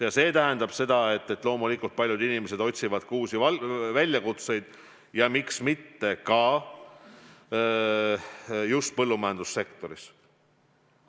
Ja see tähendab seda, et loomulikult paljud inimesed otsivad uusi väljakutseid, ja miks mitte just põllumajandussektoris.